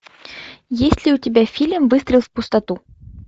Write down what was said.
есть ли у тебя фильм выстрел в пустоту